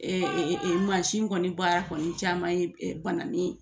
mansin kɔni baara kɔni caman ye banani ye